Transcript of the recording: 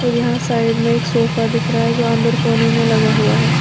और यहां साइड में एक सोफा दिख रहा है जो अंदर कोने में लगा हुआ है।